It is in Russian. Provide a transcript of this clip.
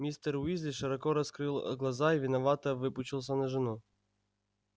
мистер уизли широко раскрыл а глаза и виновато выпучился на жену